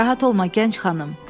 Narahat olma, gənc xanım.